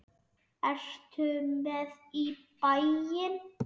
Ertu með í bæinn?